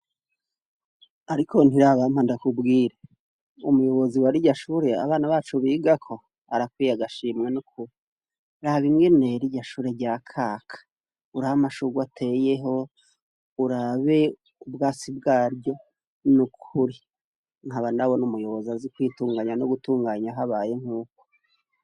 Ariko Ntirabampa ndakubwire umuyobozi wa rirya shure abana bacu bigako barakwiye agashimwe nukuri raba ingene rirya shure ryakaka urabe amashurwe ateyeho urabe ubwatsi bwaryo nukuri nkaba nawe numuyobozi azi kwitunganya nugutunganya abayemwo